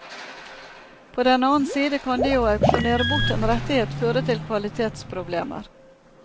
På den annen side kan det å auksjonere bort en rettighet føre til kvalitetsproblemer.